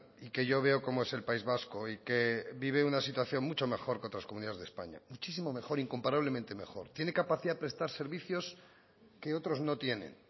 y que yo veo cómo es el país vasco y que vive una situación mucho mejor que otras comunidades de españa muchísimo mejor incomparablemente mejor tiene capacidad de prestar servicios que otros no tienen